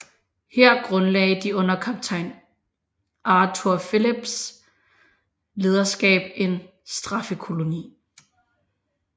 Her grundlagde de under kaptajn Arthur Phillips lederskab en straffekoloni